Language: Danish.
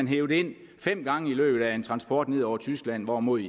hevet ind fem gange i løbet af en transport ned over tyskland hvorimod